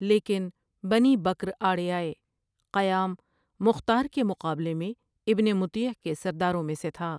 لیکن Bani Bakr آڑے آئے قیام مختار کے مقابلے میں ابن مطیع کے سرداروں میں سے تھا ۔